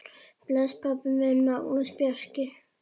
Bless, pabbi minn, Magnús Bjarki.